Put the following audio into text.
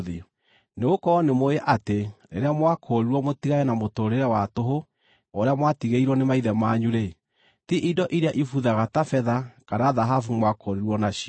Nĩgũkorwo nĩmũũĩ atĩ rĩrĩa mwakũũrirwo mũtigane na mũtũũrĩre wa tũhũ ũrĩa mwatigĩirwo nĩ maithe manyu-rĩ, ti indo iria ibuthaga ta betha kana thahabu mwakũũrirwo nacio,